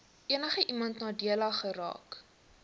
enigiemand nadelig geraak